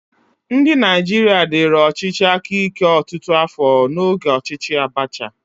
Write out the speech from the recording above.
Ndị Naijiria diri ọchịchị aka ike ọtụtụ afọ n'oge ọchịchị Abacha.